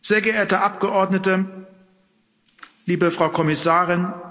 Sehr geehrte Abgeordnete, liebe Frau Kommissarin!